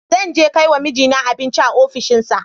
Zan je kai wa mijina abinci a ofishinsa.